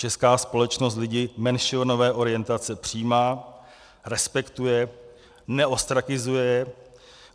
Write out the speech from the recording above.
Česká společnost lidi menšinové orientace přijímá, respektuje, neostrakizuje.